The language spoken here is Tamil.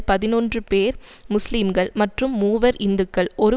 பதினொன்று பேர் முஸ்லீம்கள் மற்றும் மூவர் இந்துக்கள் ஒரு